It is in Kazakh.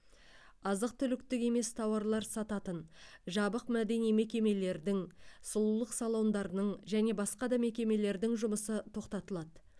азық түліктік емес тауарлар сататын жабық мәдени мекемелердің сұлулық салондарының және басқа да мекемелердің жұмысы тоқтатылады